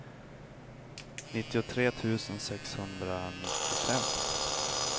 nittiotre tusen sexhundranittiofem